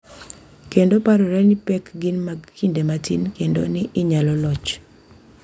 Kendo parore ni pek gin mag kinde matin kendo ni inyalo loch.